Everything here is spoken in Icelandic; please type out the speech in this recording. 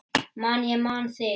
Man ég man þig